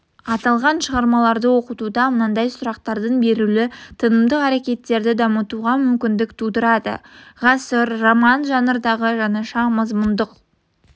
аталған шығармаларды оқытуда мынадай сұрақтардың берілуі танымдық әрекеттерді дамытуға мүмкіндік тудырады ғасыр роман жанрындағы жаңаша мазмұндық